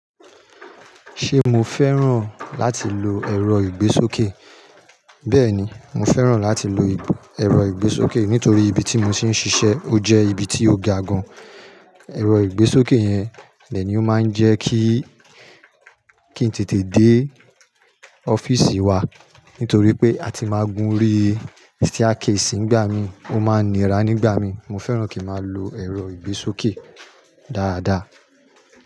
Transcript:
Ṣé mo fẹ́ràn láti lo ẹ̀rọ ìgbésókè? Bẹ́ẹ̀ni, mo fẹ́ràn láti lo ẹ̀rọ ìgbésókè nítorí ibi tí mo ti ń ṣiṣẹ́ ó jẹ́ ibi tí ó ga gan. Ẹ̀rọ ìgbésókè yẹn lẹ́ni ó máa ń jẹ́ kí-kí n tètè dé ọ́fíìsì wa nítorí pé a ti máa gun orí staircase nígbà mi, ó máa nira nígbà mi. Mo fẹ́ràn kí n máa lo ẹ̀rọ ìgbésókè dáadáa.